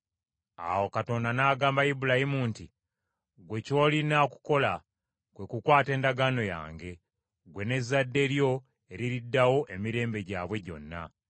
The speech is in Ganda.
Awo Katonda n’agamba Ibulayimu nti, “Ggwe ky’olina okukola kwe kukwata endagaano yange, ggwe n’ezzadde lyo eririddawo emirembe gyabwe gyonna.